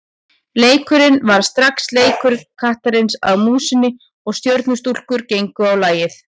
Leikurinn varð strax leikur kattarins að músinni og Stjörnustúlkur gengu á lagið.